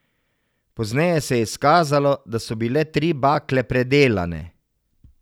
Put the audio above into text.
Pozneje se je izkazalo, da so bile tri bakle predelane.